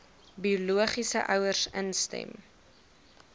biologiese ouers instem